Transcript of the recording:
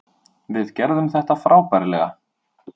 Við gerðum þetta frábærlega.